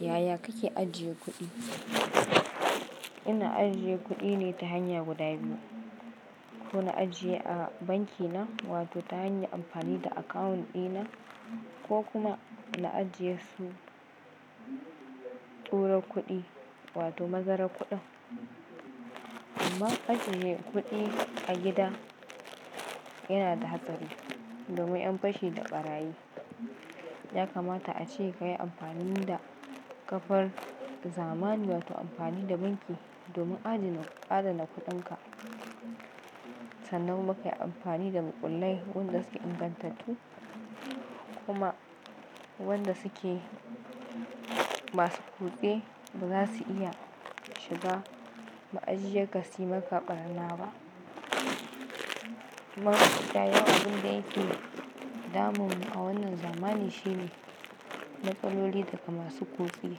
Yaya kake ajiye kuɗi? Ina ajiye kuɗi ne ta hanya guda biyu, ko na ajiye a banki na wato ta hanyar amfani da akawun ɗina ko kuma na ajiyesu tura kuɗi wato mazarar kuɗin amma ajiye kuɗi a gida yana da hatsari domin 'yan fashi da ɓarayi. Ya kamata a ce kayi amfani da kafar zamani wato amfani da banki domin adana-- adana kuɗinka. Sannan kuma ka yi amfani da makullai wanda suke ingantattu kuma wanda suke masu kutse ba za su iya shiga ma'ajiyarka su yi ma ka ɓarna ba. Amma mafiya yawan abin da yake damun mu a wannan zamani shine rafaloli daga masu kutse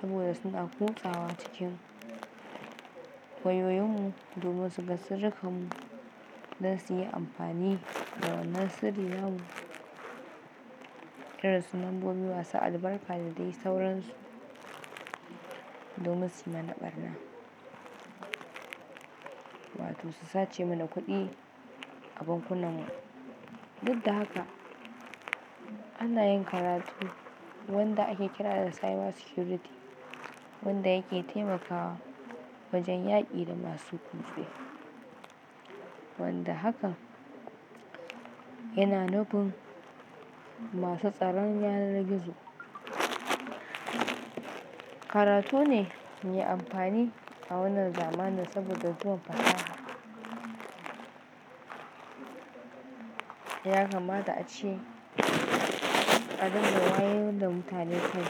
saboda suna kutsawa cikin wayoyinmu domin suga sirrikanmu don su yi amfani da wannan sirri na mu, irin su lambobi masu albarka da dai sauransu, domin su yi mana ɓarna wato su sace mana kuɗi a bankunan mu. Duk da haka ana yin karatu wanda ake kira da cyber security wanda yake taimakawa wajen yaƙi da masu kutse. Wanda hakan yana nufin masu tsaron yanar gizo. Karatu ne mai amfani a wannan zamanin saboda zuwan fasaha. Ya kamata a ce a dinga wayar da mutane kai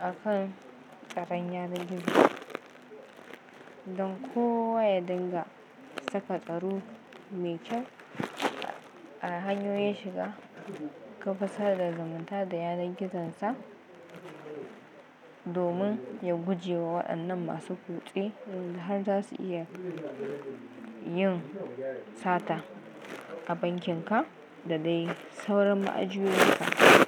a kan tsaron yanar gizo don kowa ya dinga saka tsaro mai kyau a hanyoyin shiga kafar sada zamanta da yanar gizon sa domin ya guje ma waɗannan masu kutse wand har za su iya yin sata a bankin ka da dai sauran ma'ajiyoyinka.